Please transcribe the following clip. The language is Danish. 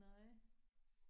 Nej